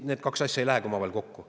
Need kaks asja ei lähe omavahel kokku.